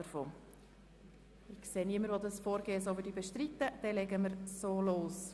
Da ich niemanden sehe, der dieses Vorgehen bestreitet, legen wir los.